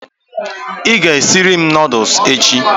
I ga esiri m noodules echi?